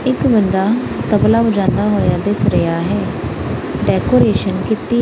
ਇੱਕ ਬੰਦਾ ਤਬਲਾ ਵਜਾਉਂਦਾ ਹੋਇਆ ਦਿਸ ਰਿਹਾ ਹੈ ਡੈਕੋਰੇਸ਼ਨ ਕੀਤੀ--